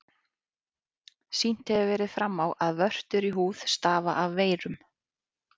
Sýnt hefur verið fram á, að vörtur í húð stafa af veirum.